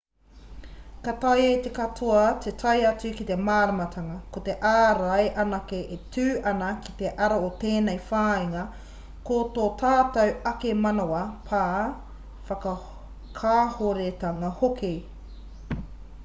ka taea e te katoa te tae atu ki te māramatanga ko te ārai anake e tū ana ki te ara o tēnei whāinga ko tō tātou ake manawa pā whakakāhoretanga hoki